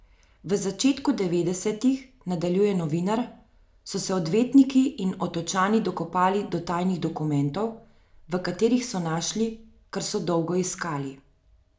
V začetku devetdesetih, nadaljuje novinar, so se odvetniki in otočani dokopali do tajnih dokumentov, v katerih so našli, kar so dolgo iskali.